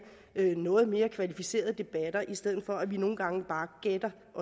noget mere kvalificerede debatter i stedet for at vi nogle gange bare gætter